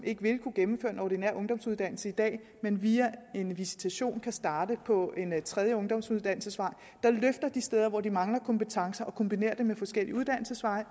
ikke vil kunne gennemføre en ordinær ungdomsuddannelse i dag men via en visitation kan starte på en tredje ungdomsuddannelsesvej der løfter de steder hvor de mangler kompetencer og kombinerer med forskellige uddannelsesveje